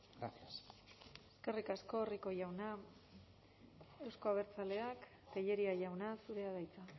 gracias eskerrik asko rico jauna euzko abertzaleak tellería jauna zurea da hitza